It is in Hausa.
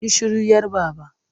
Yi shiru 'yar Baba!